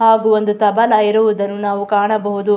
ಹಾಗು ಒಂದು ತಬಲಾ ಇರುವುದನ್ನು ನಾವು ಕಾಣಬಹುದು.